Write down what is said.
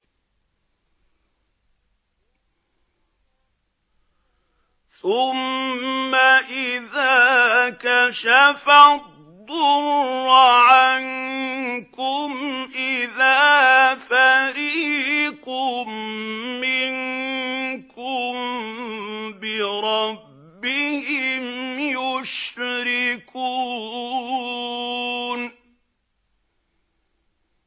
ثُمَّ إِذَا كَشَفَ الضُّرَّ عَنكُمْ إِذَا فَرِيقٌ مِّنكُم بِرَبِّهِمْ يُشْرِكُونَ